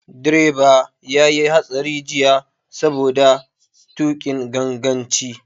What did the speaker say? Direba ya yi hatsari jiya saboda tuƙin ganganci.